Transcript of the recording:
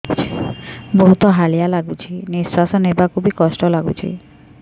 ବହୁତ୍ ହାଲିଆ ଲାଗୁଚି ନିଃଶ୍ବାସ ନେବାକୁ ଵି କଷ୍ଟ ଲାଗୁଚି